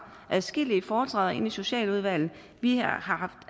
adskillige foretræder i socialudvalget vi har haft